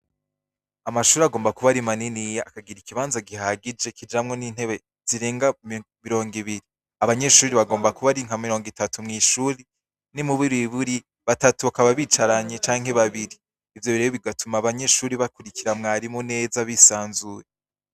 Mu mashuri yisumbuye barigisha indomi zandikishije ibara ryera n'irisa n'umuhondo hasi hari amajambo yanditse avuga ngo ku wa gatandatu igenekerezo rya cumi na kane ntwarante ibumbi bina mirungo bi na gatandatu abanyeshuri ntibazoza kw'ishuri kabiri guhera u wa mbere igerekerezo rya cumi na gatandatu ntwara n'ibiyumbu bibiri na mirungo ibiri na gatandatu aha banyenshi bazora bataha isa sitandatu n'iminota mirungo ibiri.